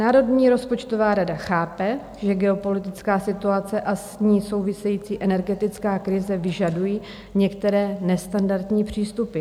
Národní rozpočtová rada chápe, že geopolitická situace a s ní související energetická krize vyžadují některé nestandardní přístupy.